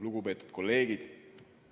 Lugupeetud kolleegid!